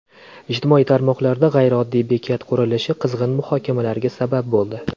Ijtimoiy tarmoqlarda g‘ayrioddiy bekat qurilishi qizg‘in muhokamalarga sabab bo‘ldi.